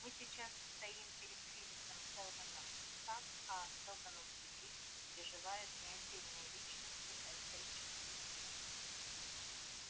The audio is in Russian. мы сейчас стоим перед кризисом сэлдона сатт а сэлдоновские кризисы переживают не отдельные личности а исторические силы